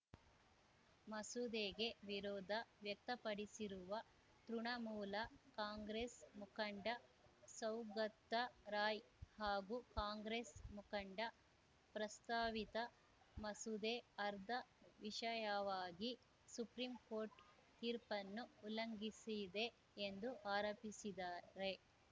ಮಸೂದೆಗೆ ವಿರೋಧ ವ್ಯಕ್ತಪಡಿಸಿರುವ ತೃಣಮೂಲ ಕಾಂಗ್ರೆಸ್‌ ಮುಖಂಡ ಸೌಗತ್ತಾ ರಾಯ್‌ ಹಾಗೂ ಕಾಂಗ್ರೆಸ್‌ ಮುಖಂಡ ಪ್ರಸ್ತಾವಿತ ಮಸೂದೆ ಆರ್ದಾ ವಿಷಯವಾಗಿ ಸುಪ್ರೀಂಕೋರ್ಟ್‌ ತೀರ್ಪನ್ನು ಉಲ್ಲಂಘಿಸಿದೆ ಎಂದು ಆರೋಪಿಸಿದ್ದಾರೆ